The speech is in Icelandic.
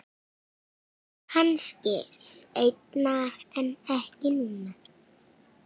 Kannski seinna en ekki núna.